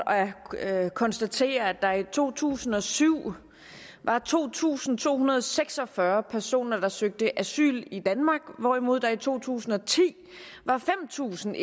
at konstatere at der i to tusind og syv var to tusind to hundrede og seks og fyrre personer der søgte asyl i danmark hvorimod der i to tusind og ti var fem tusind